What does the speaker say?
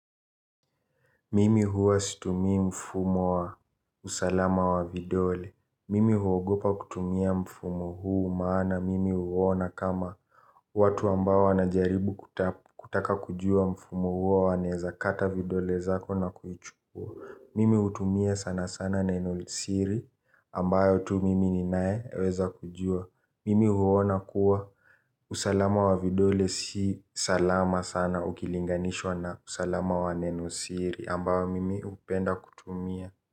Mimi huwa situmi mfumo wa usalama wa vidole. Mimi huogopa kutumia mfumo huu maana mimi huona kama watu ambao wanajaribu kutaka kujua mfumo huo wanaeza kata vidole zako na kuichukua. Mimi hutumia sana sana neno siri ambayo tu mimi ninayeweza kujua. Mimi huona kuwa usalama wa vidole si salama sana ukilinganishwa na usalama wa neno siri ambayo mimi hupenda kutumia.